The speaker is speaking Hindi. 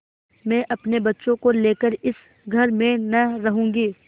मैं अपने बच्चों को लेकर इस घर में न रहूँगी